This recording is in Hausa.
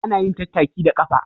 Ana yin tattaki da ƙafa